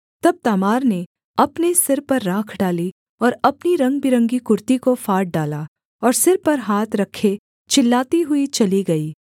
तब तामार ने अपने सिर पर राख डाली और अपनी रंगबिरंगी कुर्ती को फाड़ डाला और सिर पर हाथ रखे चिल्लाती हुई चली गई